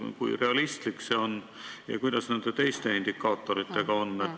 Kui realistlik see on ja kuidas nende teiste indikaatoritega on?